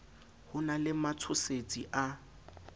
ho na le matshosetsi a